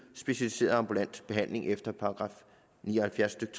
specialiseret ambulant behandling efter § ni og halvfjerds stykke